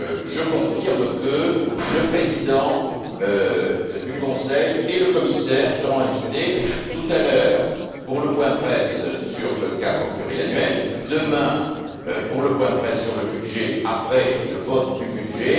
Je confirme que le président du Conseil et le commissaire seront invités, tout à l'heure, pour le point presse sur le cadre financier pluriannuel et, demain, pour le point presse sur le budget, après le vote du budget.